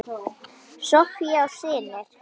Soffía og synir.